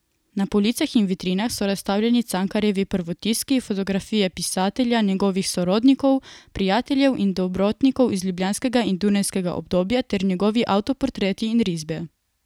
Na policah in vitrinah so razstavljeni Cankarjevi prvotiski, fotografije pisatelja, njegovih sorodnikov, prijateljev in dobrotnikov iz ljubljanskega in dunajskega obdobja ter njegovi avtoportreti in risbe.